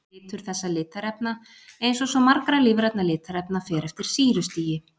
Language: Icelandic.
Litur þessa litarefna, eins og svo margra lífrænna litarefna, fer eftir sýrustigi.